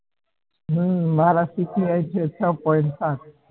મારા અમ CPI છે છ point પાંચ